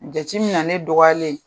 Jateminɛnnen ne dɔgɔyalen